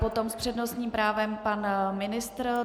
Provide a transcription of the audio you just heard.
Potom s přednostním právem pan ministr.